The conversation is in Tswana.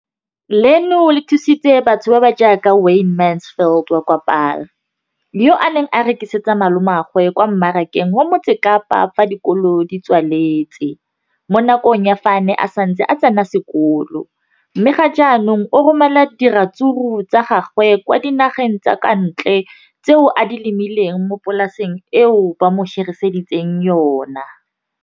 leno le thusitse batho ba ba jaaka Wayne Mansfield, 33, wa kwa Paarl, yo a neng a rekisetsa malomagwe kwa Marakeng wa Motsekapa fa dikolo di tswaletse, mo nakong ya fa a ne a santse a tsena sekolo, mme ga jaanong o romela diratsuru tsa gagwe kwa dinageng tsa kwa ntle tseo a di lemileng mo polaseng eo ba mo hiriseditseng yona.